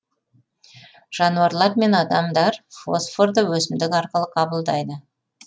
жануарлар мен адамдар фосфорды өсімдік арқылы қабылдайды